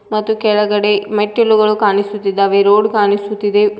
ಮತ್ತು ಕೆಳಗಡೆ ಮೆಟ್ಟಿಲುಗಳು ಕಾಣಿಸುತ್ತಿದ್ದಾವೆ ರೋಡ್ ಕಾಣಿಸುತ್ತಿದೆ.